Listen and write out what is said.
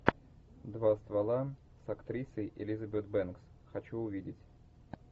два ствола с актрисой элизабет бэнкс хочу увидеть